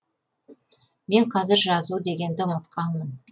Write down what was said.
мен қазір жазу дегенді ұмытқанмын